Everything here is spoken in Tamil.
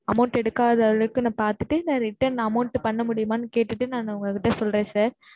amount எடுக்காத அளவுக்கு நான் பாத்துட்டு நான் return amount பண்ண முடியுமான்னு கேட்டுட்டு நான் உங்ககிட்ட சொல்றேன் sir.